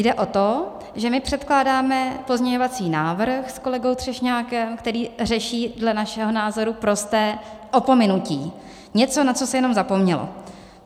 Jde o to, že my předkládáme pozměňovací návrh s kolegou Třešňákem, který řeší dle našeho názoru prosté opomenutí, něco, na co se jenom zapomnělo.